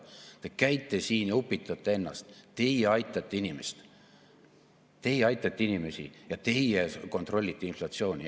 Te käite siin ja upitate ennast: teie aitate inimesi ja teie kontrollite inflatsiooni.